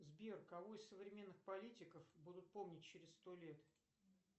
сбер кого из современных политиков будут помнить через сто лет